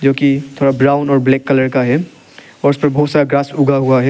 जो की थोड़ा ब्राउन और ब्लैक कलर का है और उसपर बहुत सारा घास उगा हुआ है।